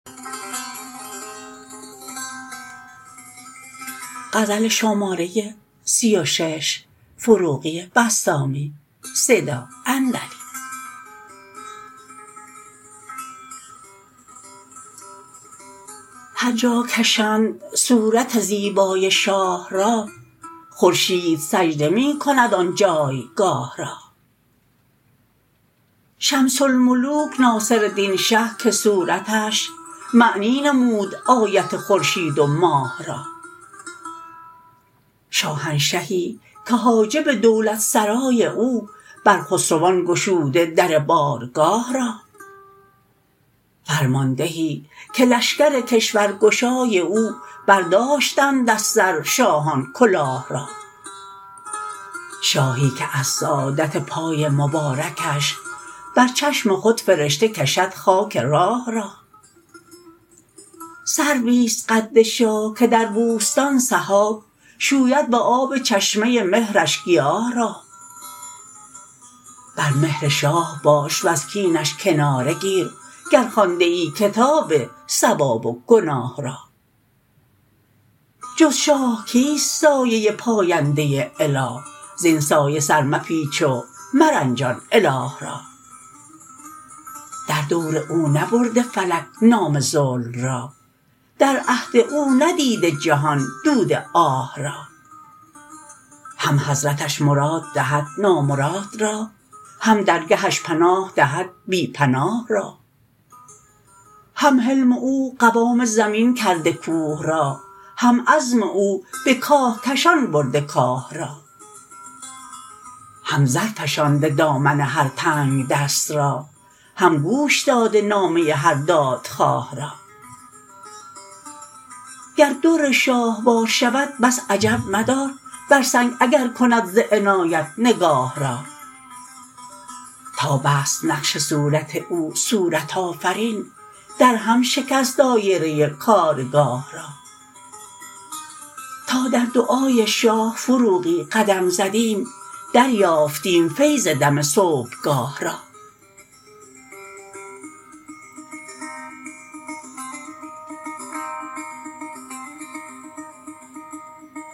هر جا کشند صورت زیبای شاه را خورشید سجده می کند آن جای گاه را شمس الملوک ناصرالدین شه که صورتش معنی نمود آیت خورشید و ماه را شاهنشهی که حاجب دولت سرای او بر خسروان گشوده در بارگاه را فرماندهی که لشکر کشورگشای او برداشتند از سر شاهان کلاه را شاهی که از سعادت پای مبارکش بر چشم خود فرشته کشد خاک راه را سروی است قد شاه که در بوستان سحاب شوید به آب چشمه مهرش گیاه را بر مهر شاه باش وز کینش کناره گیر گر خوانده ای کتاب ثواب و گناه را جز شاه کیست سایه پاینده اله زین سایه سر مپیچ و مرنجان اله را در دور او نبرده فلک نام ظلم را در عهد او ندیده جهان دود آه را هم حضرتش مراد دهد نامراد را هم درگهش پناه دهد بی پناه را هم حلم او قوام زمین کرده کوه را هم عزم او به کاه کشان برده کاه را هم زرفشانده دامن هر تنگ دست را هم گوش داده نامه هر دادخواه را گر در شاه وار شود بس عجب مدار بر سنگ اگر کند ز عنایت نگاه را تا بست نقش صورت او صورت آفرین در هم شکست دایره کارگاه را تا در دعای شاه فروغی قدم زدیم در یافتیم فیض دم صبح گاه را